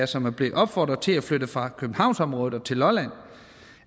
som er blevet opfordret til at flytte fra københavnsområdet til lolland